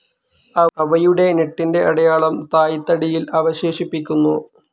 അവയുടെ ഞെട്ടിൻ്റെ അടയാളം തായ്തടിയിൽ അവശേഷിപ്പിക്കുന്നു.